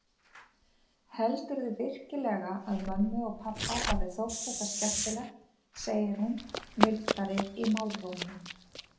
Heldurðu virkilega að mömmu og pabba hafi þótt þetta skemmtilegt, segir hún mildari í málrómnum.